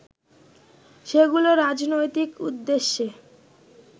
সেগুলো রাজনৈতিক উদ্দেশ্যে